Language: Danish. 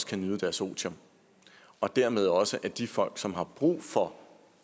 kan nyde deres otium og dermed også at de folk som har brug for